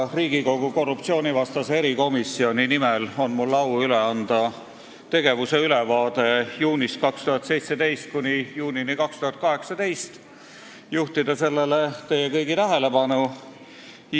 Riigikogu korruptsioonivastase erikomisjoni nimel on mul au üle anda komisjoni tegevuse ülevaade, mis hõlmab ajavahemikku juunist 2017 kuni juunini 2018, ja juhtida sellele teie kõigi tähelepanu.